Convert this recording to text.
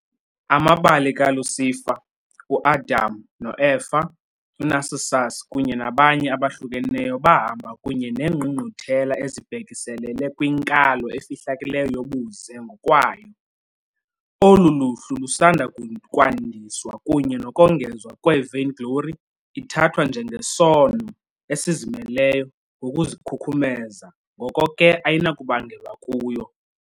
Amabali kaLucifer, uAdam noEva, uNarcissus kunye nabanye abahlukeneyo bahamba kunye neengqungquthela ezibhekiselele kwinkalo efihlakeleyo yobuze ngokwayo. Olu luhlu lusanda kwandiswa kunye nokongezwa kwe "-vainglory", ithathwa njengesono esizimeleyo ngokuzikhukhumeza, ngoko ke ayinakubangelwa kuyo.